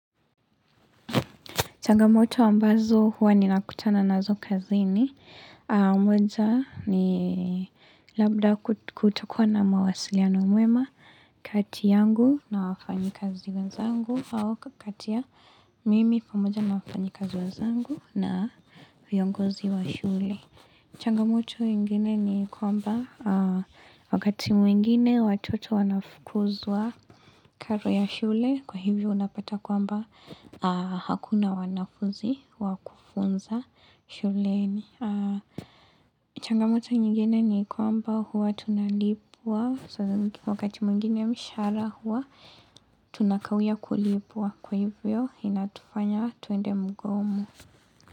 Changamoto wa mbazo huwa ninakutana nazo kazi ni. Kwaza ni labda kutakuwa na mawasiliano mwema kati yangu na wafanyikazi wanzangu. Au kati ya mimi pamoja na wafanyikazi wenzangu na viongozi wa shule. Changamoto ingine ni kwamba wakati mwingine watoto wanafukuzwa karo ya shule. Kwa hivyo unapata kwamba hakuna wanafunzi wa kufunza shuleni. Changamota nyingine ni kwamba huwatunalipwa. Sa wakati mwingine mshahara huwa tunakawia kulipwa. Kwa hivyo inatufanya tuende mgomo.